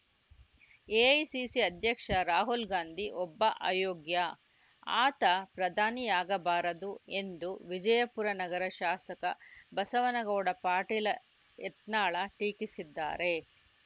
AICC ಅಧ್ಯಕ್ಷ ರಾಹುಲ್‌ ಗಾಂಧಿ ಒಬ್ಬ ಅಯೋಗ್ಯ ಆತ ಪ್ರಧಾನಿಯಾಗಬಾರದು ಎಂದು ವಿಜಯಪುರ ನಗರ ಶಾಸಕ ಬಸವನಗೌಡ ಪಾಟೀಲ ಯತ್ನಾಳ್‌ ಟೀಕಿಸಿದ್ದಾರೆ